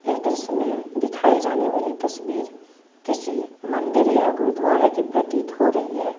इस दृश्य में दिखाई जाने वाली तस्वीर किसी मंदिर या गुरुद्वारे की प्रतीत हो रही है।